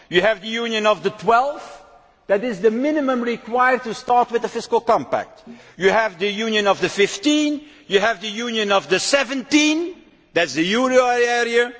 You have the Union of the 12, that is the minimum number required to start with the fiscal compact. You have the Union of the 15 and you have the Union of the 17, that is the euro area.